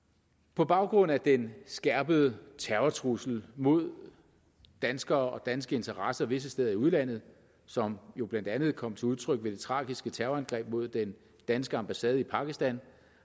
på baggrund af den skærpede terrortrussel mod danskere og danske interesser visse steder i udlandet som jo blandt andet kom til udtryk ved det tragiske terrorangreb mod den danske ambassade i pakistan